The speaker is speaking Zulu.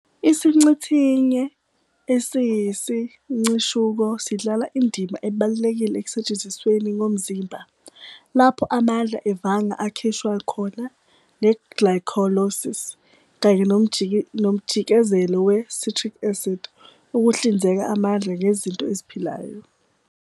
IsiNcithinye esiyisincishuko sidlala indima ebalulekile ekusetshenzisweni komzimba, lapho amandla evanga akhishwa khona "nge-glycolysis" kanye nomjikelezo we", citric acid," ukuhlinzeka amandla ngezinto eziphilayo.